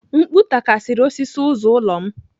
Mkpu takara osisi ụzọ ụlọ m